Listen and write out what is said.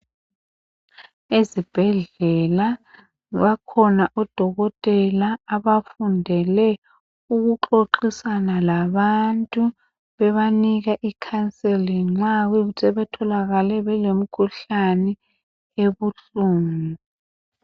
Ezibhedlela bakhona odokotela abafundela ukuxoxisana labantu. Bebanika counseling nxa kuyikuthi sebetholakale belemikhuhlani ebuhlungu.